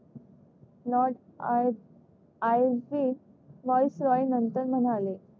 voice Roy नंतर म्हणाले